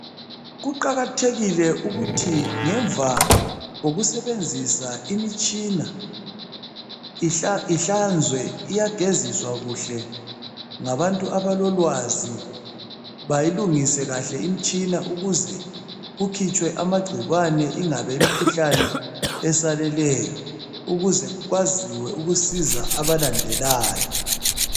Kuqakathekile ukube ngemva kokusebenzisa imitshina ihlanzwe. Iyageziswa kuhle ngabantu abelolwazi bayilungise kahle imtshina ukuze kukhitshwe amagcikwane ingabe imikhuhlane esalelayo ukuze kwaziwe ukusiza abalandelayo.